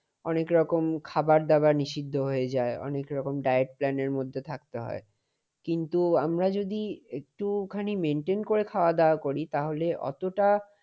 অনেক রকম খাবার-দাবার নিষিদ্ধ হয়ে যায়। অনেক রকম diet plan এর মধ্যে থাকতে হয়। কিন্তু আমরা যদি একটুখানি maintain করে খাওয়া দাওয়া করি তাহলে অতটা